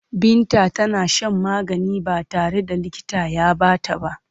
Binta tana shan magani ba tare da likita ya ba ta ba.